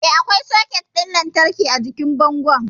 Eh, akwai soket ɗin lantarki a jikin bangon